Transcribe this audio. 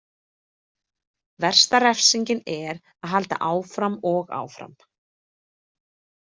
Versta refsingin er að halda áfram og áfram.